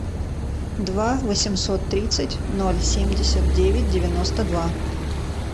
два восемьсот тридцать ноль семьдесят девять девяносто два